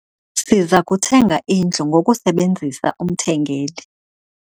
Siza kuthenga indlu ngokusebenzisa umthengeli.